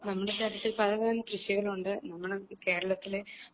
നമ്മുടെ തലത്തിൽ പലതരം കൃഷികളുണ്ട് നമ്മുടെ കേരളത്തിലെ ആൾക്കാര്